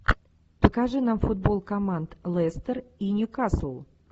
покажи нам футбол команд лестер и ньюкасл